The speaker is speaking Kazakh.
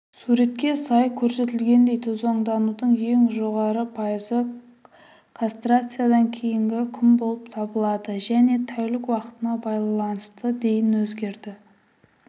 суретке сай көрсетілгендей тозаңданудың ең жоғары пайызы кастрациядан кейінгі күн болып табылады және тәулік уақытына байланысты дейін өзгерді